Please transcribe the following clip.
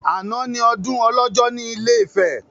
Àná ni ọdún ọlọ́jọ́ ní ilé Ifẹ̀